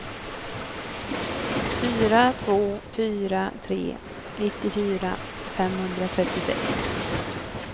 fyra två fyra tre nittiofyra femhundratrettiosex